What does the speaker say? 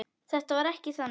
Þetta var ekki þannig.